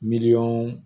Miliyɔn